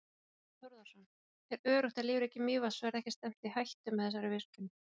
Þorbjörn Þórðarson: Er öruggt að lífríki Mývatns verði ekki stefnt í hættu með þessari virkjun?